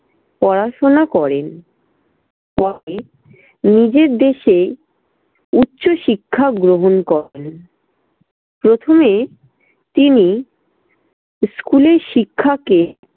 পড়াশোনা করেন। পরে নিজের দেশে উচ্চ শিক্ষা গ্রহণ করেন। প্রথমে তিনি school এর শিক্ষাকে